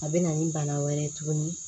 A bɛ na ni bana wɛrɛ ye tuguni